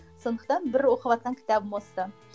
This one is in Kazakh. сондықтан бір оқыватқан кітабым осы